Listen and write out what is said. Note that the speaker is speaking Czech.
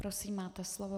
Prosím, máte slovo.